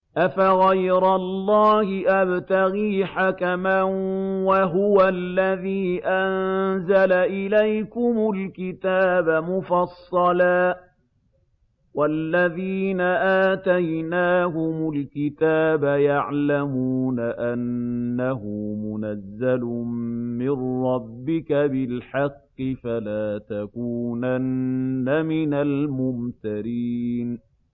أَفَغَيْرَ اللَّهِ أَبْتَغِي حَكَمًا وَهُوَ الَّذِي أَنزَلَ إِلَيْكُمُ الْكِتَابَ مُفَصَّلًا ۚ وَالَّذِينَ آتَيْنَاهُمُ الْكِتَابَ يَعْلَمُونَ أَنَّهُ مُنَزَّلٌ مِّن رَّبِّكَ بِالْحَقِّ ۖ فَلَا تَكُونَنَّ مِنَ الْمُمْتَرِينَ